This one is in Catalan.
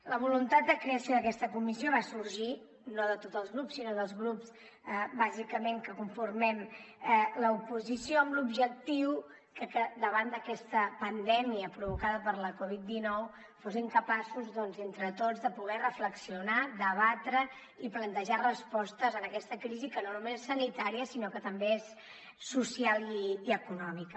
la voluntat de creació d’aquesta comissió va sorgir no de tots els grups sinó dels grups bàsicament que conformem l’oposició amb l’objectiu que davant d’aquesta pandèmia provocada per la covid dinou fóssim capaços doncs entre tots de poder reflexionar debatre i plantejar respostes a aquesta crisi que no només és sanitària sinó que també és social i econòmica